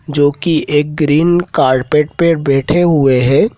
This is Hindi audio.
जो की एक ग्रीन कार्पेट पर बैठे हुए हैं।